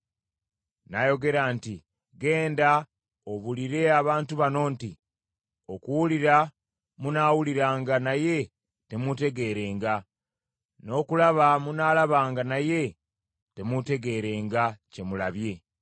Nayogera nti, “Genda obuulire abantu bano nti, “ ‘Okuwulira munaawuliranga naye temutegeerenga, n’okulaba munaalabanga naye temutegeerenga kye mulabye.’